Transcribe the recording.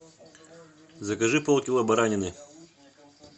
закажи полкило баранины